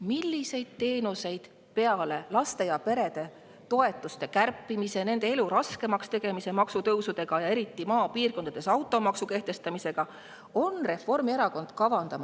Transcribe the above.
Millised teenused peale laste ja perede toetuste kärpimise, nende elu raskemaks tegemise maksutõusudega, eriti maapiirkondades automaksu kehtestamisega on Reformierakonnal kavas?